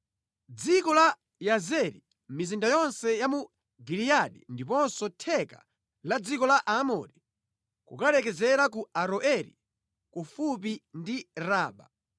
Dziko la Yazeri, mizinda yonse ya mu Giliyadi ndiponso theka la dziko la Amori kukalekezera ku Aroeri, kufupi ndi Raba;